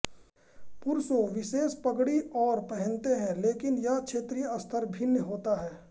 पुरुषों विशेष पगड़ी और पहनते हैं लेकिन यह क्षेत्रीय स्तर भिन्न होता है